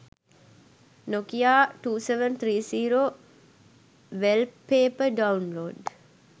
nokia 2730 wellpaper downlod